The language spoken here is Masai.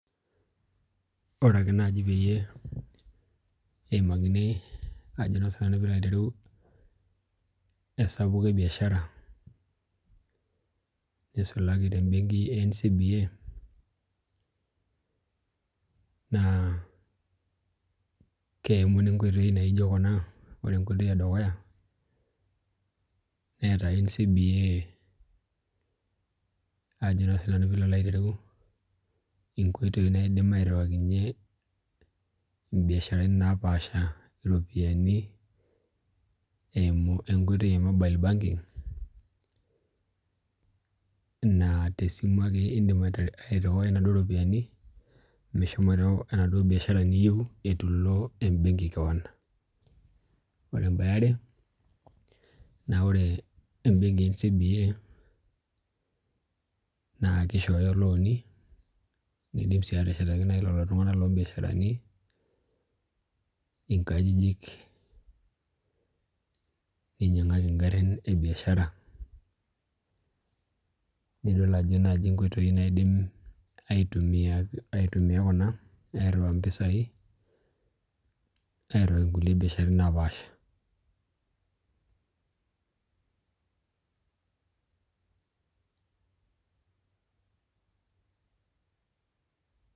Orake naje peyie eimakini ajo naake siinanu piilo alo aiteru esapuko ebiashara neisulaki tembenki e NCBA naa keimuni inkoitoi naijo kuna ore enkoitoi edukuya neeta NCBA ajo naa siinanu piilo aitereu inkoitoi naidim airhiwakinye imbiasharani naapasha iropiani eimu enkoitoi e Mobile Banking naa tesimu ake in'dim airhiwai inaduo ropiani meshomoito enaduo biashara niyieu etulo embenki keon Ore em'bae eare naa ore embenki e NCBA naa kishooyo ilooni nidim sii ateshetaki nai lelo tung'anak loombiasharani ingajijik neimyang'aki ingharin ebiashara nidol ajo naji inkoitoi naidim aitumia kuna airhiwaa empesai airhiwaki ingulie biasharani naapasha